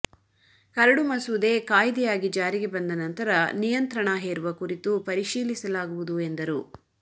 curd ಮಸೂದೆ ಕಾಯ್ದೆಯಾಗಿ ಜಾರಿಗೆ ಬಂದ ನಂತರ ನಿಯಂತ್ರಣ ಹೇರುವ ಕುರಿತು ಪರಿಶೀಲಿಸಲಾಗುವುದು ಎಂದರು